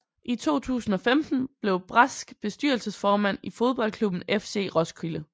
I 2015 blev Brask bestyrelsesformand i fodboldklubben FC Roskilde